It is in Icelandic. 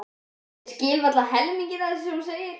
Ég skil varla helminginn af því sem þú segir.